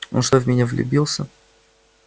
он что в меня влюбился